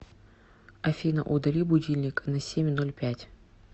афина удали будильник на семь ноль пять